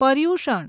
Paryushan